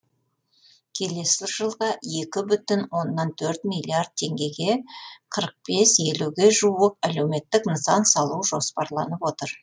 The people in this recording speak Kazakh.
келесі жылға екі бүтін оннан төрт миллиард теңгеге қырық бес елуге жуық әлеуметтік нысан салу жоспарланып отыр